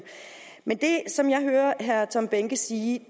men det som jeg hører herre tom behnke sige